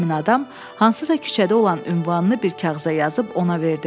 Həmin adam hansısa küçədə olan ünvanını bir kağıza yazıb ona verdi.